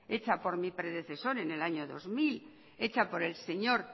hecha por mi predecesor en el año dos mil hecha por el señor